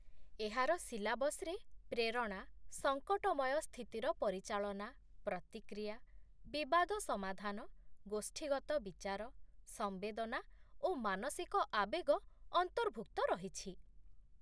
ଏହାର ସିଲାବସ୍‌ରେ ପ୍ରେରଣା, ସଙ୍କଟମୟ ସ୍ଥିତିର ପରିଚାଳନା, ପ୍ରତିକ୍ରିୟା, ବିବାଦ ସମାଧାନ, ଗୋଷ୍ଠୀଗତ ବିଚାର, ସମ୍ବେଦନା ଓ ମାନସିକ ଆବେଗ ଅନ୍ତର୍ଭୁକ୍ତ ରହିଛି